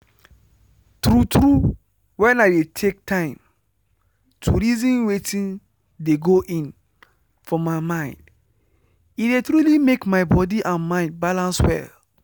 true true when i dey take time to reason wetin dey go in for my mind e dey truly make my body and mind balance well.